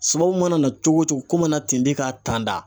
Sababu mana na cogo o cogo ko mana ten ka t'a